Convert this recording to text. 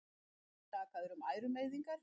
Er hann sakaður um ærumeiðingar